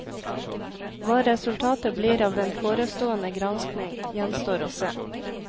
Hva resultatet blir av den forestående granskning, gjenstår å se.